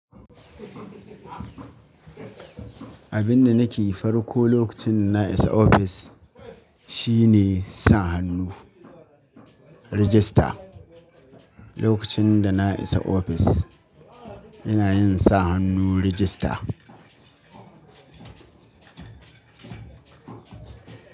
Abin da nake yi farko lokacin da na isa ofis shine sa hannu, register. Lokacin da na isa ofis ina yin sa hannu register.